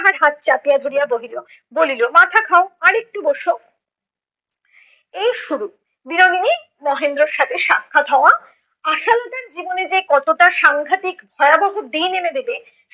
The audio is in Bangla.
তাহার হাত চাপিয়া ধরিয়া বহিল বলিল। মাথা খাও, আর একটু বসো। এই শুরু বিনোদিনীর মহেন্দ্রের সাথে সাক্ষাৎ হওয়া আশালতার জীবনে যে কতটা সাংঘাতিক ভয়াবহ দিন এনে দেবে